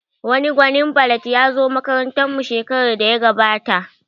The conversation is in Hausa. Wani gwanin ballad ya zo makarantar mu shekarar da ya gabata